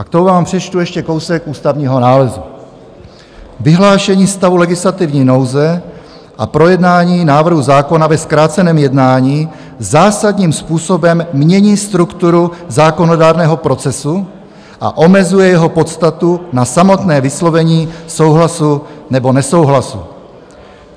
A k tomu vám přečtu ještě kousek ústavního nálezu: "Vyhlášení stavu legislativní nouze a projednání návrhu zákona ve zkráceném jednání zásadním způsobem mění strukturu zákonodárného procesu a omezuje jeho podstatu na samotné vyslovení souhlasu nebo nesouhlasu.